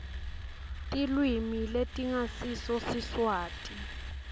tilwimi letingasiso siswati